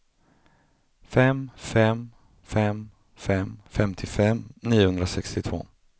fem fem fem fem femtiofem niohundrasextiotvå